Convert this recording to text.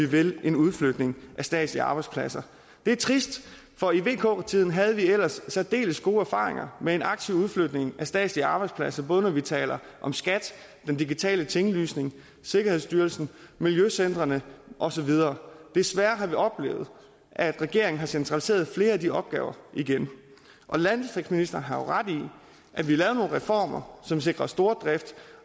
vil en udflytning af statslige arbejdspladser det er trist for i vk tiden havde vi ellers særdeles gode erfaringer med en aktiv udflytning af statslige arbejdspladser både når vi taler om skat den digitale tinglysning sikkerhedsstyrelsen miljøcentrene og så videre desværre har vi oplevet at regeringen har centraliseret flere af de opgaver igen landdistriktsministeren har ret i at vi lavede nogle reformer som sikrede stordrift